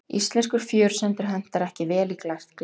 Íslenskur fjörusandur hentar ekki vel í glært gler.